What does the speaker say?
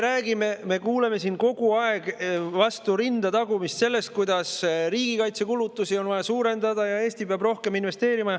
Teiseks, me kuuleme siin kogu aeg vastu rinda tagumist ja juttu sellest, kuidas riigikaitsekulutusi on vaja suurendada ja et Eesti peab rohkem investeerima.